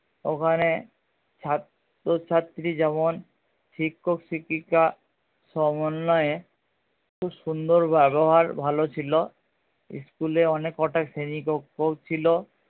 ওখানে ছাত্র ছাত্রী যেমন শিক্ষক শিক্ষিকা সমন্নয়ে খুব সুন্দর ব্যাবহার ভালো ছিল school এ অনেক কটা শ্রেণী কক্ষও ছিলো